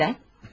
Nədən?